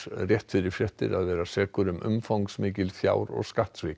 rétt fyrir fréttir að vera sekur um umfangsmikil fjár og skattsvik